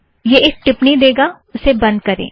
वह एक टिप्पणि देगा उसे बंध करें